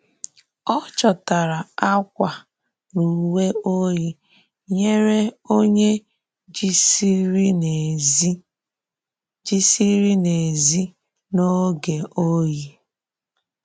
Ọ chọtarà akwa na uwe oyi nyere onye jìsịrị n’èzí jìsịrị n’èzí n’oge oyi.